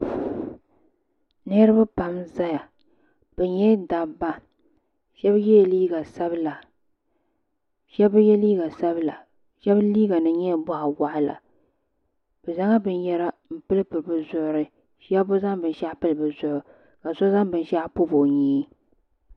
Niriba pam n zaya bɛ nyɛla dabba sheba yela liiga sabila sheba bi ye liiga sabila sheba liiga nima nyɛla boɣawaɣala bɛ zaŋla binyɛra m pili pili bɛ zuɣuri sheba bɛ zaŋ binshaɣu pili bɛ zuɣu ka so zaŋ binshaɣu pobi o nyee.